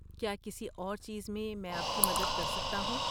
کیا کسی اور چیز میں مَیں آپ کی مدد کر سکتا ہوں؟